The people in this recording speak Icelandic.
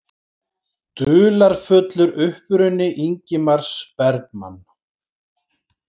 Dularfullur uppruni Ingmars Bergman